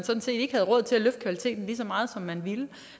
ikke havde råd til at løfte kvaliteten lige så meget som man ville